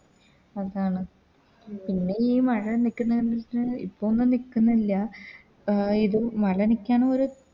ഉം അതാണ് പിന്നെയി മഴ നിക്ക്ന്നെ കണ്ടിട്ട് ഇപ്പൊ ഒന്നും നിക്ക്ന്നില്ല അഹ് ഇത് മല നീക്കാനും ഒര്